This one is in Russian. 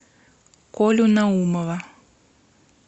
колю наумова